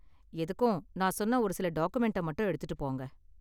எதுக்கும், நான் சொன்ன ஒரு சில டாக்குமென்ட்ட மட்டும் எடுத்துட்டு போங்க.